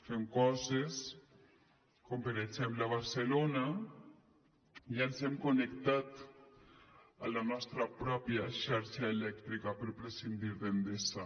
fem coses com per exemple a barcelona ja ens hem connectat a la nostra pròpia xarxa elèctrica per prescindir d’endesa